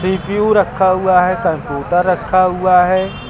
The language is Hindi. सी_पी_यू रखा हुआ है। कंप्यूटर रखा हुआ है।